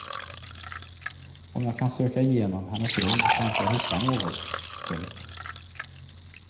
Om jag kan söka igenom hennes rum kanske jag hittar något. punkt